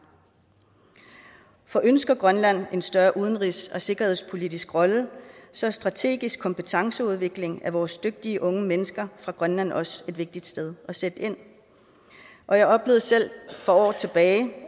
for ønsker grønland en større udenrigs og sikkerhedspolitisk rolle så er strategisk kompetenceudvikling af vores dygtige unge mennesker fra grønland også et vigtigst sted at sætte ind og jeg oplevede selv for år tilbage